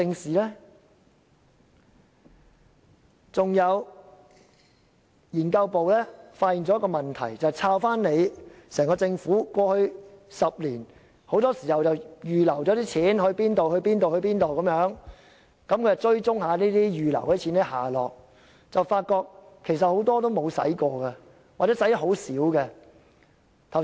此外，資料研究組發現了另一個問題，政府過去10年預留了多筆款項，資料研究組追蹤這些預留款項的下落，發現很多根本沒有花，或只花了很小部分。